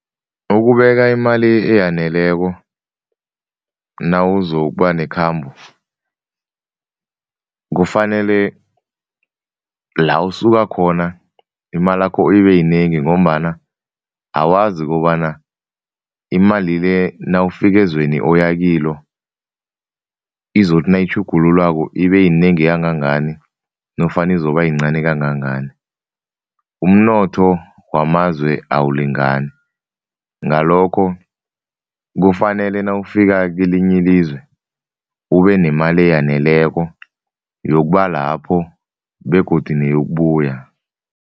Ukubeka imali eyaneleko nawuzokuba nekhamba kufanele la usuka khona, imalakho ibeyinengi ngombana awazi ukobana imali le nawufika ezweni oyakilo izothi nayitjhugululwako ibeyinengi kangangani nofana izobayincani kangangani. Umnotho wamazwe awulingani, ngalokho kufanele nawufika kelinye ilizwe ubenemali eyaneleko yokuba lapho begodu neyokubuya.